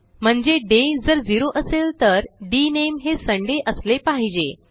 म्हणजे डे जर 0 असेल तर डीएनएमई हे सुंदय असले पाहिजे